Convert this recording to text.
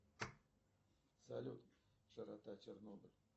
салют широта чернобыля